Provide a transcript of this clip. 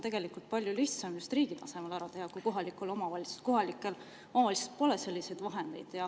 Tegelikult on palju lihtsam see just riigi tasemel ära teha, sest kohalikel omavalitsustel pole selliseid vahendeid.